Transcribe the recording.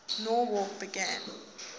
nowrap begin